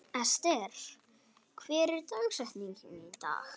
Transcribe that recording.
Ester, hver er dagsetningin í dag?